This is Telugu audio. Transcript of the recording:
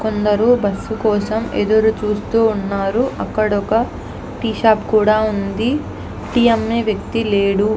కొందరు బస్సు కోసము ఎదురు చూస్తూ ఉన్నారు. అక్కడ ఒక టీ షాప్ కూడా ఉంది. అక్కడ టి అమ్మే వ్యక్తి లేరు.